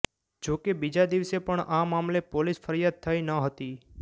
જો કે બીજા દિવસે પણ આ મામલે પોલીસ ફરિયાદ થઈ નહોતી